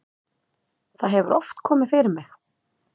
það hefur oft komið fyrir mig.